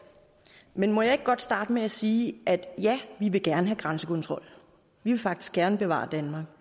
men må jeg ikke godt starte med at sige at ja vi vil gerne have grænsekontrol vi vil faktisk gerne bevare danmark